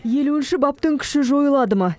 елуінші баптың күші жойылады ма